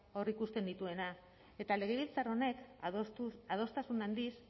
aurreikusten dituena eta legebiltzar honek adostasun handiz